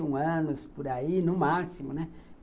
vinte e um anos, por aí, no máximo, né.